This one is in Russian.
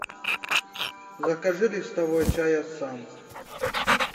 закажи листовой чай ассам